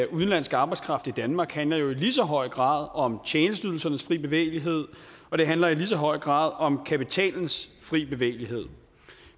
udenlandsk arbejdskraft i danmark handler jo i lige så høj grad om tjenesteydelsernes frie bevægelighed og de handler i lige så høj grad om kapitalens frie bevægelighed